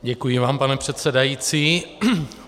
Děkuji vám, pane předsedající.